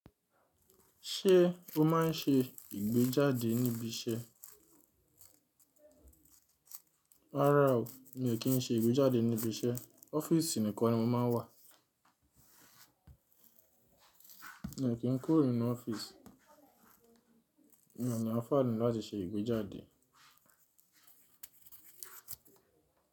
Ṣé o máa ń ṣe ìgbéjáde níbi iṣẹ́? Rárá o, mi ò kí ń ṣe ìgbéjáde níbi iṣẹ́, ọ́fíìsì nìkan ni mo máa ń wà. Mi ò kí ń kúrò nínú ọ́fíìsì, mi ò ní anfààní láti ṣe ìgbéjáde.